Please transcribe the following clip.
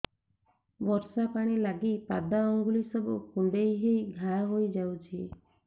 ବର୍ଷା ପାଣି ଲାଗି ପାଦ ଅଙ୍ଗୁଳି ସବୁ କୁଣ୍ଡେଇ ହେଇ ଘା ହୋଇଯାଉଛି